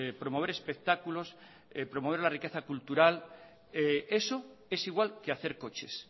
promover espectáculos promover la riqueza cultural eso es igual que hacer coches